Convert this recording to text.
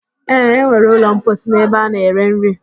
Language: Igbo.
E nwere ụlọ mposi n'ebe ana-ere nri